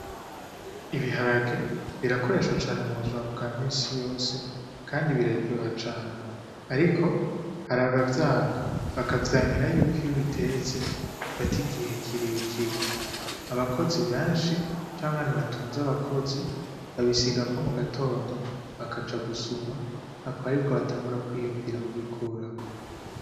Ibiharage birakoreshwa cane mu buzima bwa minsi yose kandi biraryoha cane. Ariko hari abavyanka, bakavyankira y'uko iyo ubitetse bifata igihe kire kire. Abakozi benshi canke abantu batunze abakozi babisigako mu gatondo bakaja gusuma, akaba aribwo batangura kwiyumvira kubikurako.